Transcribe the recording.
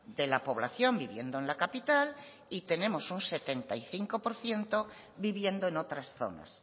de la población viviendo en la capital y tenemos un setenta y cinco por ciento viviendo en otras zonas